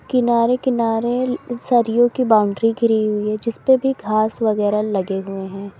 किनारे किनारे सरियों की बाउंड्री घिरी हुई है जिसपे भी घास वगैरा लगे हुए हैं।